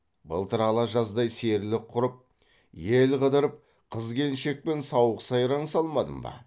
былтыр ала жаздай серілік құрып ел қыдырып қыз келіншекпен сауық сайран салмадым ба